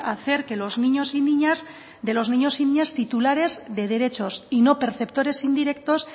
hacer de los niños y niñas titulares de derechos y no perceptores indirectos